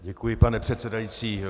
Děkuji, pane předsedající.